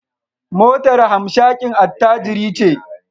Motar hamshakin attajiri ce